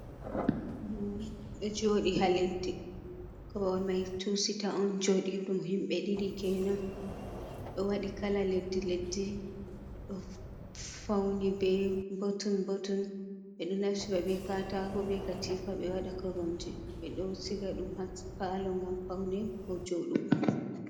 Korwal ɗo joɗi ha leddi, korwal mai tusita on joɗi ɗum himɓe ɗiɗi kenan, ɗo waɗi kala leddi leddi ɗo fauni be botun botun. ɓeɗo naftira ɓe katako be katifa. ɓeɗo waɗa koramje, ɓeɗo siga ɗum ha palo ngam paune ko joɗugo.